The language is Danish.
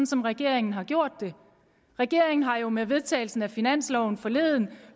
som regeringen har gjort det regeringen har jo med vedtagelsen af finansloven forleden